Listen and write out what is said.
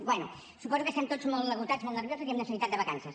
bé suposo que estem tots molt esgotats molt nerviosos i amb necessitat de vacances